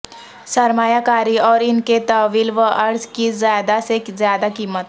سرمایہ کاری اور ان کے طول و عرض کی زیادہ سے زیادہ قیمت